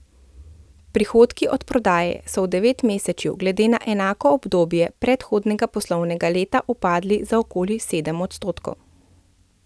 Prihodki od prodaje so v devetmesečju glede na enako obdobje predhodnega poslovnega leta upadli za okoli sedem odstotkov.